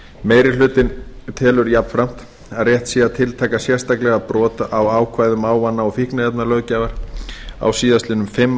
meiri hlutinn telur jafnframt að rétt sé að tiltaka sérstaklega brot á ákvæðum ávana og fíkniefnalöggjafar á síðastliðnum fimm